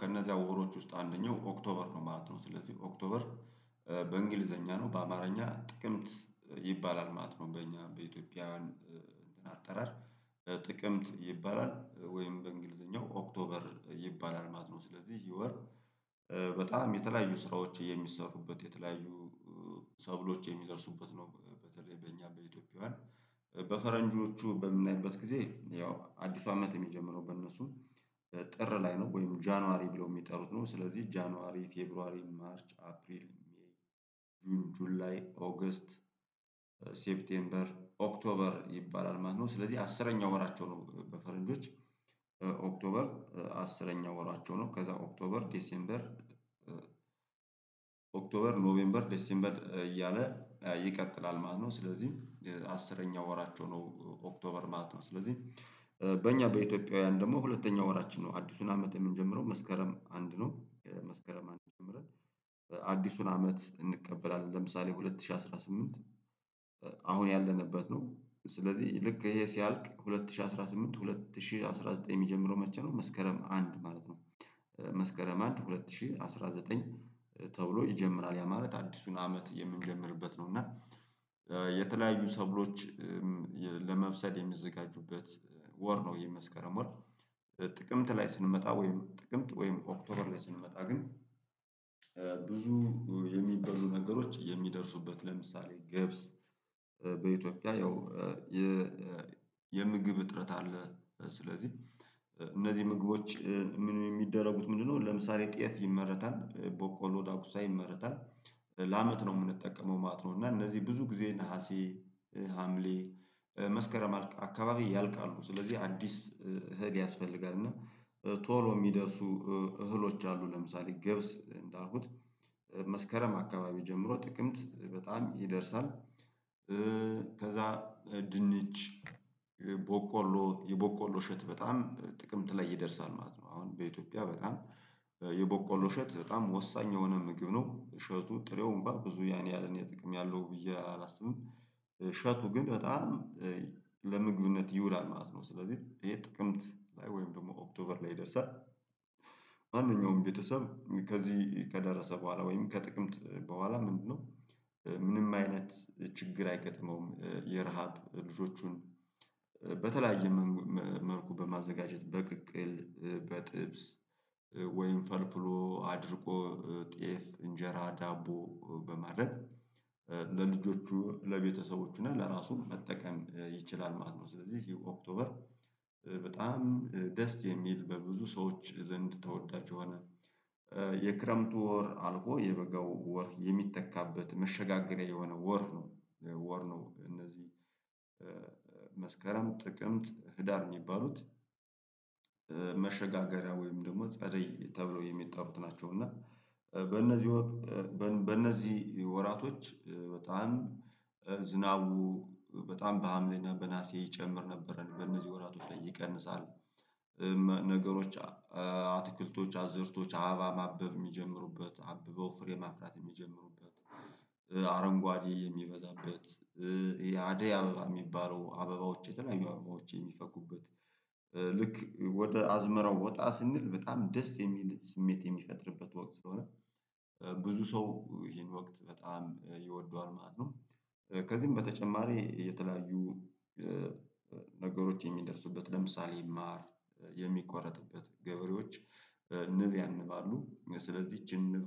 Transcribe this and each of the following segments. ከነዚያ ወሮች ውስጥ አንደኛው ኦክቶበር ነው ማለት ነው። ስለዚህ ኦክቶበር በእንግሊዘኛ ነው በአማርኛ ጥቅምት ይባላል ማለት ነው። በእኛ በኢትዮጵያ እንትን አጠራር በጥቅምት ይባላል ወይም በእንግሊዘኛው ኦክቶበር ይባላል ማለት ነወ። ስለዚህ የወር በጣም የተለያዩ ስራዎች የሚሰሩበት የተለያዩ ሰብሎች የሚደርሱበት ነው። በተለይ በእኛ በፈረንጆቹ በምናይበት ጊዜ ያው አዲሱ አመት የሚጀምረው በእነሱም ጥር ላይ ነው ወይም ጃንዋሪ ብለው የሚጠሩት ነው። ስለዚህ ጃንዋሪ ፌብሩዋሪ ማርች አፕሪል ሜይ ጁን ጁል ላይ ኦገስት ሴፕቴምበር ኦክቶበር ይባላል ማለት ነው። ስለዚህ አስረኛ ወራቸው ነው በፈረንጆች ኦክቶበር አስረኛ ወራቸው ነው። ከዛ ኦክቶበር ዲሴምበር ኦክቶበር ኖቬምበር ደሴምበር እያለ ይቀጥላል ማለት ነው። ስለዚህም አስረኛ ወራቸው ነው ኦክቶበር ማለት ነው። ስለዚህ በእኛ በኢትዮጵያውያን ደግሞ ሁለተኛ ወራችን ነው አዲሱን አመት የምንጀምረው መስከረም አንድ ነው። መስከረም አንድ ጀምረን አዲሱን አመት እንቀበላለን ለምሳሌ ሁለት ሺህ አስራ ስምንት አሁን ያለንበት ነው። ስለዚህ ልክ ይሄ ሲያልቅ ሁለት ሺህ አስራ ስምንት ሁለት ሺህ አስራ ዘጠኝ የሚጀምረው መቼ ነው? መስከረም አንድ ማለት ነው መስከረም አንድ ሁለት ሺህ አስራ ዘጠኝ ተብሎ ይጀምራል ያ ማለት አዲሱን አመት የምንጀምርበት ነው። እና የተለያዩ ሰብሎች ሎች ለመብሰል የሚዘጋጁበት ወር ነው። የመስከረም ወር ጥቅምት ላይ ስንመጣ ወይም ጥቅምት ወይም ኦክቶበር ላይ ስንመጣ ግን ብዙ የሚበሉ ነገሮች የሚደርሱበት ለምሳሌ ገብስ በኢትዮጵያ ያው የምግብ እጥረት አለ። ስለዚህ እነዚህ ምግቦች ምን የሚደረጉት ምንድነው? ለምሳሌ ጤፍ ይመረታል ቦቆሎ ዳኩሳ ይመረታል ለአመት ነው የምንጠቀመው ማለት ነው። እና እነዚህ ብዙ ጊዜ ነሀሴ ሀምሌ መስከረም አካባቢ ያልቃሉ ስለዚህ አዲስ እህል ያስፈልጋል። እና ቶሎ የሚደርሱ እህሎች አሉ። ለምሳሌ ገብስ እንዳልኩት መስከረም አካባቢ ጀምሮ ጥቅምት በጣም ይደርሳል። ከዛ ድንች ቦቆሎ የቦቆሎ እሸት በጣም ጥቅምት ላይ ይደርሳል ማለት ነው። አሁን በኢትዮጵያ በጣም የቦቆሎ እሸት በጣም ወሳኝ የሆነ ምግብ ነው እሸቱ ጥሬው እንኳን ብዙ ያን ያለ የጥቅም ያለው ብዬ አላስብም። እሸቱ ግን በጣም ለምግብነት ይውላል ማለት ነው። ስለዚህ ይሄ ጥቅምት ወይም ደግሞ ኦክቶበር ላይ ደርሰህ ይደርሳል ማንኛውም ቤተሰብ ከዚህ ከደረሰ በኋላ ወይም ከጥቅምት በኋላ ምንድነው ምንም አይነት ችግር አይገጥመውም። የረሃብ ልጆቹን በተለያየ መልኩ በማዘጋጀት በቅቅል በጥብስ ወይም ፈልፍሎ አድርቆ ጤፍ እንጀራ ዳቦ በማድረግ ለልጆቹ ለቤተሰቦቹ እና ለራሱ መጠቀም ይችላል ማለት ነው። ስለዚህ የኦክቶበር በጣም ደስ የሚል በብዙ ሰዎች ዘንድ ተወዳጅ የሆነ የክረምቱ ወር አልፎ የበጋው ወር የሚተካበት መሸጋገሪያ የሆነ ወር ነው። ወር ነው እነዚህ መስከረም ጥቅምት ህዳር የሚባሉት መሸጋገሪያ ወይም ደግሞ ጸደይ ተብሎ የሚጠሩት ናቸው። እና በእነዚህ በእነዚህ ወራቶች በጣም ዝናቡ በጣም በሀምሌና በናሴ ይጨምር ነበረን በእነዚህ ወራቶች ላይ ይቀንሳል። ነገሮች አትክልቶች አዘርቶች አበባ ማበብ የሚጀምሩበት አብበው ፍሬ ማፍራት የሚጀምሩበት አረንጓዴ የሚበዛበት አደይ አበባ የሚባለው አበባዎች የተለያዩ አበባዎች የሚፈኩበት። ልክ ወደ አዝመራው ወጣ ስንል በጣም ደስ የሚል ስሜት የሚፈጥርበት ወቅት ስለሆነ ብዙ ሰው ይሄን ወቅት በጣም ይወደዋል ማለት ነው። ከዚህም በተጨማሪ የተለያዩ ነገሮች የሚደርሱበት ለምሳሌ ማር የሚቆረጥበት ንብ ያንባሉ ስለዚህ ይች ንብ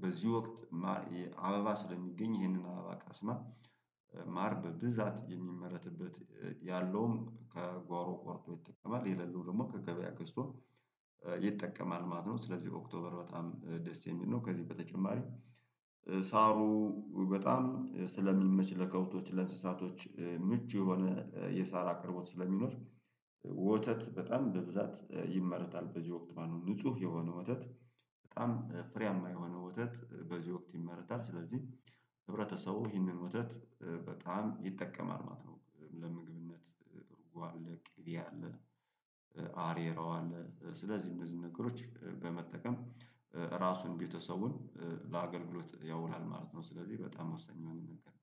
በዚህ ወቅት አበባ ስለሚገኝ ይሄንን አበባ ቀስማ ማር በብዛት የሚመረትበት ያለውም ከጓሮ ቆርጦ ይጠቀማል የሌለው ደግሞ ከገበያ ገዝቶ ይጠቀማል ማለት ነው። ስለዚህ ኦክቶበር በጣም ደስ የሚል ነው። ከዚህ በተጨማሪ ሳሩ በጣም ስለሚመች ለከብቶች ለእንስሳቶች ምቹ የሆነ የሳር አቅርቦት ስለሚኖር ወተት በጣም በብዛት ይመረታል። በዚህ ወቅት ማኑም ንጹህ የሆነ ወተት በጣም ፍሬያማ የሆነ ወተት በዚህ ወቅት ይመረታል ስለዚህ ህብረተሰቡ ይህንን ወተት በጣም ይጠቀማል። ማለት ነው ለምግብነት እርጉ አለ ቄቤ አለ አሬራዋ አለ ስለዚህ እነዚህ ነገሮች በመጠቀም ራሱን ቤተሰቡን ለአገልግሎት ያውላል ማለት ነው። ስለዚህ በጣም ወሰኝ የሆነ ነገር